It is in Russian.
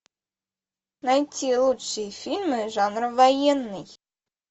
найти лучшие фильмы жанра военный